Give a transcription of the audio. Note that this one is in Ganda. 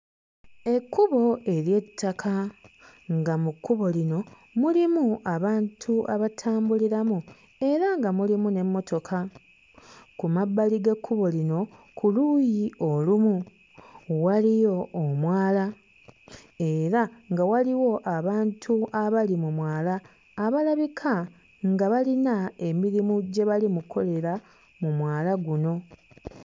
Ekkubo ery'ettaka nga mu kkubo lino mulimu abantu abatambuliramu era nga mulimu n'emmotoka, ku mabbali g'ekkubo lino ku luuyi olumu waliyo omwala era nga waliwo abantu abali mu mwala abalabika nga balina emirimu gye bali mu kkolera mu mwala guno.